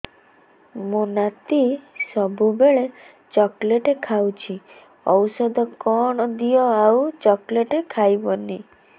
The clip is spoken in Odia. ମୋ ନାତି ସବୁବେଳେ ଚକଲେଟ ଖାଉଛି ଔଷଧ କଣ ଦିଅ ଆଉ ଚକଲେଟ ଖାଇବନି